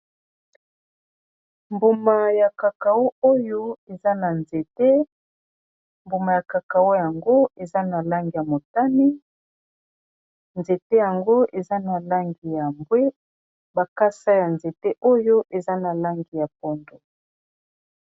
Mbumayakakau oyo eza na nzete mbuma ya kakau yango eza na langi ya motani, nzete yango eza na langi ya mbwe makasa ya nzete oyo eza na langi ya pondu.